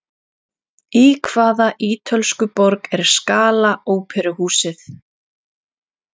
Í hvaða ítölsku borg er Scala óperuhúsið?